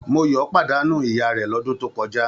Moyọ̀ pàdánù ìya rẹ̀ lọ́dún tó kọjá.